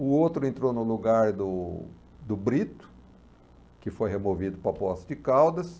O outro entrou no lugar do do Brito, que foi removido para a posse de Caldas.